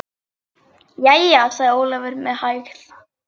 Jæja, sagði Ólafur með hægð.